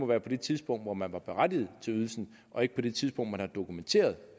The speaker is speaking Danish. være det tidspunkt hvor man var berettiget til ydelsen og ikke det tidspunkt hvor man har dokumenteret